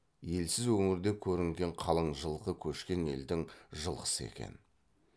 елсіз өңірде көрінген қалың жылқы көшкен елдің жылқысы екен